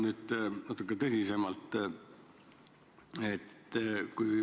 Nüüd natuke tõsisemalt.